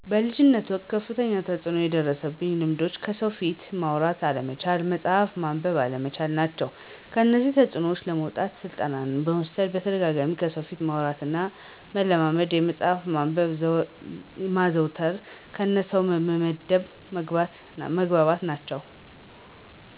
በልጅነት ወቅት ከፍተኛ ተጽዕኖ የደረሱኝ ልማዶች ከሰው ፊት ማውራት አለመቻል፣ መጽሀፍ ማንበብ አለመቻል ናቸው። ከዚህ ተፅዕኖ ለማውጣት ስልጠና መውሰድ በተደጋጋሚ ከሰው ፊት ማውራትን መለማመድ እና መፅሀፍ ማንበብ ማዘውተር እነ ከሰው በደንብ መግባባት ናቸው